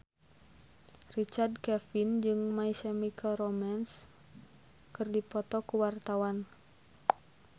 Richard Kevin jeung My Chemical Romance keur dipoto ku wartawan